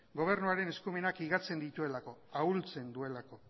gobernuaren eskumenak higatzen dituelako ahultzen duelako